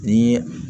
Ni